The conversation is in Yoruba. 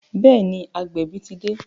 Bẹẹ ni, agbẹ̀bí ti dé